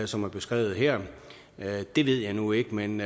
som er beskrevet her det ved jeg nu ikke men